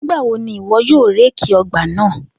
Nigbawo ni iwọ yoo réèkì ọgbà naa?